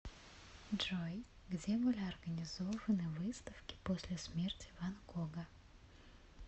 джой где были организованы выставки после смерти ван гога